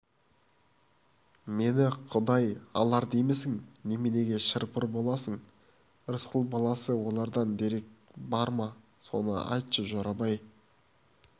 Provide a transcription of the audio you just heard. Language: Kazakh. мені құдай алар деймісің неменеге шыр-пыр боласың рысқұл баласы олардан дерек бар ма соны айтшы жорабай